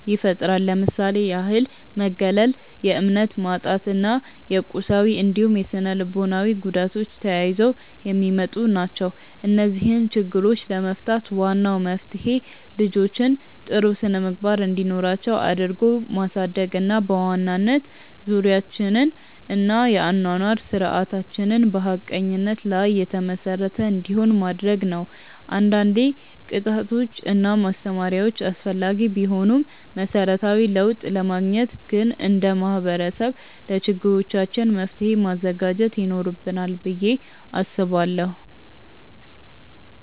ይፈጥራል። ለምሳሌ ያህል መገለል፣ የእምነት ማጣት እና የቁሳዊ እንዲሁም ስነልቦናዊ ጉዳቶች ተያይዘው የሚመጡ ናቸው። እነዚህን ችግሮች ለመፍታት ዋናው መፍትሄ ልጆችን ጥሩ ስነምግባር እንዲኖራቸው አድርጎ ማሳደግ እና በዋናነት ዙሪያችንን እና የአኗኗር ስርዓታችንን በሀቀኝነት ላይ የተመሰረተ እንዲሆን ማድረግ ነው። አንዳንዴ ቅጣቶች እና ማስተማሪያዎች አስፈላጊ ቢሆኑም መሰረታዊ ለውጥ ለማግኘት ግን እንደ ማህበረሰብ ለችግሮቻችን መፍትሔ ማዘጋጀት ይኖርብናል ብዬ አስባለሁ።